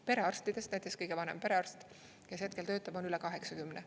Perearstidest näiteks kõige vanem perearst, kes hetkel töötab, on üle 80.